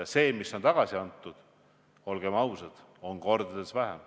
Ja seda, mis on tagasi antud, olgem ausad, on kordades vähem.